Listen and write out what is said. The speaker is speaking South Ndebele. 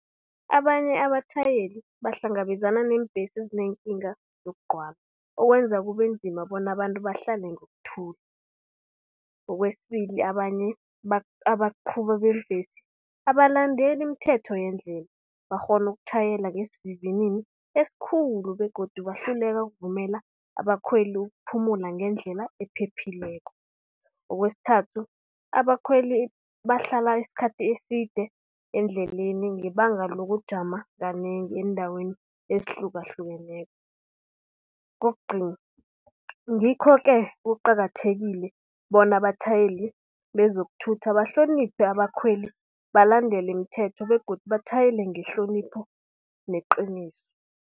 Abanye abatjhayeli bahlangabezana neembhesi ezinenkinga zokugcwala, okwenza kube nzima bona abantu bahlale ngokuthula. Kwesibili, abanye abaqhuba beembesi abalandeli imithetho yeendlela bakghona ukutjhayela ngesivinini esikhulu begodu bahluleka ukuvumela abakhweli ukuphumula ngendlela ephephileko. Kwesithathu, abakhweli bahlala isikhathi eside endleleni ngebanga lokujama kanengi eendaweni ezihlukahlukeneko. Kokugcina, ngikho-ke kuqakathekile bona abatjhayeli bezokuthutha bahloniphe abakhweli, balandele imithetho begodu batjhayele ngehlonipho neqiniso.